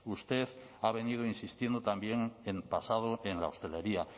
usted ha venido insistiendo también en el pasado en la hostelería